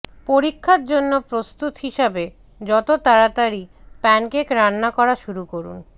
পরীক্ষার জন্য প্রস্তুত হিসাবে যত তাড়াতাড়ি প্যানকেক রান্না করা শুরু করুন